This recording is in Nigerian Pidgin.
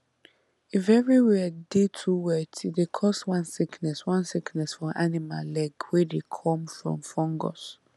if everywhere dey too wet e dey cause one sickness one sickness for animal leg wey dey come from fungus